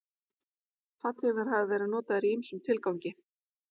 Fallhlífar hafa verið notaðar í ýmsum tilgangi.